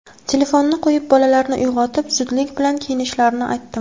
Telefonni qo‘yib, bolalarni uyg‘otib, zudlik bilan kiyinishlarini aytdim.